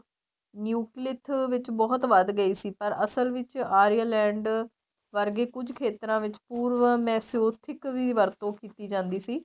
ਨਿਊਕਲਿਥ ਇਸ ਵਿੱਚ ਬਹੁਤ ਵੱਧ ਗਈ ਸੀ ਪਰ ਅਸਲ ਵਿੱਚ ਆਰੀਆਂ land ਵਰਗੇ ਕੁੱਛ ਖੇਤਰਾਂ ਵਿੱਚ ਪੂਰਵ ਵਰਤੋ ਕੀਤੀ ਜਾਂਦੀ ਸੀ